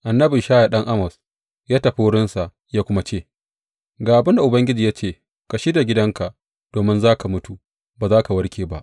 Annabi Ishaya ɗan Amoz ya tafi wurinsa ya kuma ce, Ga abin da Ubangiji ya ce ka shirya gidanka, domin za ka mutu; ba za ka warke ba.